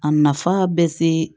A nafa bɛ se